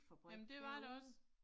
Jamen det var der også